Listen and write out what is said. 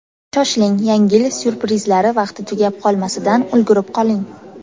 Shoshiling, yangi yil syurprizlari vaqti tugab qolmasidan ulgurib qoling.